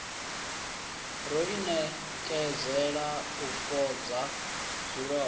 ro inekedzela u fhodza zwilonda